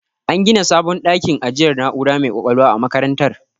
An gina sabon dakin ajiyar na'ura mai ƙwaƙwalwa a makarantar.